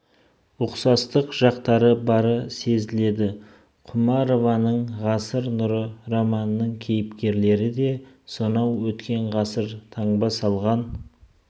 ұқсатық жақтары бары сезіледі құмарованың ғасыр нұры романының кейіпкерлері де сонау өткен ғасыр таңба салған